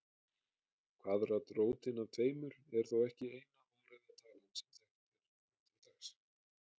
Kvaðratrótin af tveimur er þó ekki eina óræða talan sem þekkt er nú til dags.